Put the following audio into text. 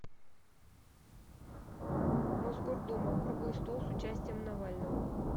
мосгордума круглый стол с участием навального